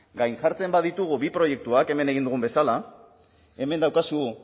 gainjartzen baditugu bi proiektuak hemen egin dugun bezala hemen daukazu